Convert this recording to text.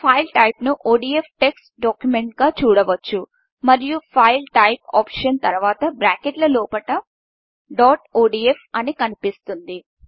file టైపును ODF text డాక్యుమెంట్గా చూడవచ్చు మరియు ఫైల్ టైప్ ఆప్షన్ తరువాత బ్రాకెట్ల లోపల డోటోడీఎఫ్ అని కనిపిస్తుంది